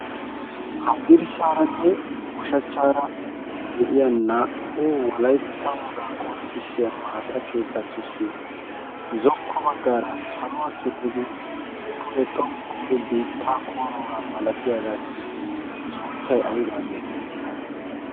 haddirssaaranne ushachchaara de'iya naa'u walaittaoogaa qonccissiya maata keettatussi zokko baggaara saluwaa simmidi pude xoqu biittaa kooroogaa malatiyaagaassi sunttay aybaa geetettii?